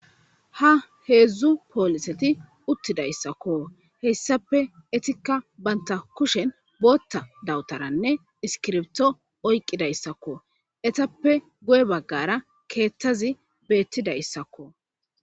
ha heedzdzu pooliseti uttidayssakko heyssape etikka banta kushen bootha dawutaranne iskirbto oyqqidayssakko etappe goye baggara keethazi beettida issakko